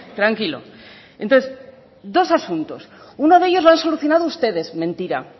tranquilo entonces dos asuntos uno de ellos lo han solucionado ustedes mentira